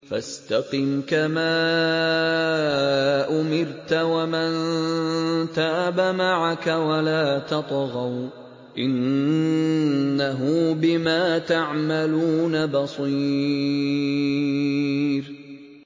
فَاسْتَقِمْ كَمَا أُمِرْتَ وَمَن تَابَ مَعَكَ وَلَا تَطْغَوْا ۚ إِنَّهُ بِمَا تَعْمَلُونَ بَصِيرٌ